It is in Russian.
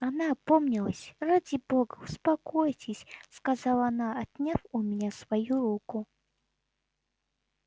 она опомнилась ради бога успокойтесь сказала она отняв у меня свою руку